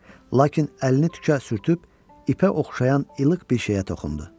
Lakin əlini tükə sürüb, ipə oxşayan ilıq bir şeyə toxundu.